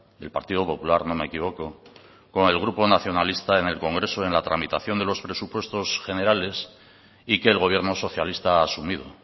del partido popular no me equivoco con el grupo nacionalista en el congreso en la tramitación de los presupuestos generales y que el gobierno socialista ha asumido